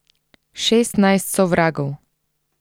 Šestnajst sovragov.